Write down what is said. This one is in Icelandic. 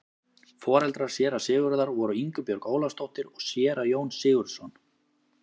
Foreldrar séra Sigurðar voru Ingibjörg Ólafsdóttir og séra Jón Sigurðsson.